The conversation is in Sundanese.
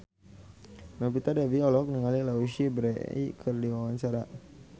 Novita Dewi olohok ningali Louise Brealey keur diwawancara